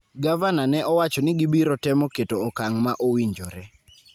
Gavana ne owacho ni gibiro temo keto okang' ma owinjore